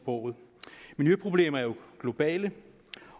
co miljøproblemer er jo globale